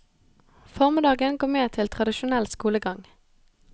Formiddagen går med til tradisjonell skolegang.